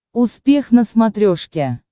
успех на смотрешке